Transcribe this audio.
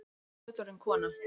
Að ég sé fullorðin kona.